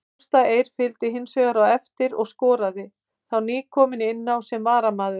Ásta Eir fylgdi hinsvegar á eftir og skoraði, þá nýkomin inná sem varamaður.